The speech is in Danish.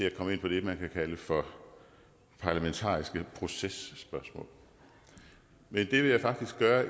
at komme ind på det man kan kalde for parlamentarisk proces spørgsmål men det vil jeg faktisk gøre